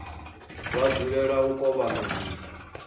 vha dzulela u kovhana zwithu